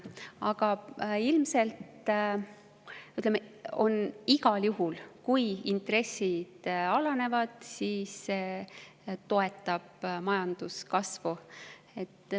Aga igal juhul, kui intressid alanevad, siis see toetab majanduskasvu.